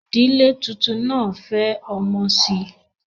Ìdílé tuntun náà fẹ́ ọmọ sí i